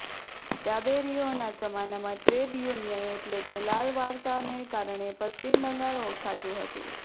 ડાબેરીઓના જમાનામાં trade union એટલે કે લાલ વાવટાને કારણે પશ્ચિમ બંગાળ ઓળખાતું હતું